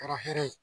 Kɛra hɛrɛ ye